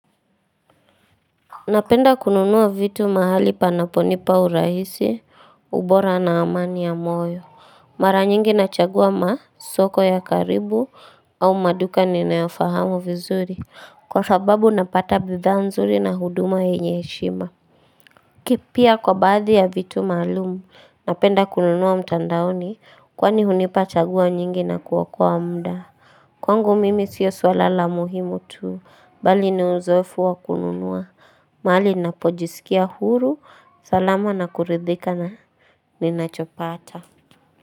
Napenda kununua vitu mahali panaponipa urahisi ubora na amani ya moyo Mara nyingi nachagua masoko ya karibu au maduka ninafahamu vizuri Kwa sababu napata bidhaa nzuri na huduma yenye heshima kipya kwa baadhi ya vitu maalumu napenda kununua mtandaoni kwani hunipa chagua nyingi na kuokoa muda Kwangu mimi sio swala la muhimu tu bali ni uzoefu wa kununua mahali napojisikia huru, salama na kuridhika na ninachopata.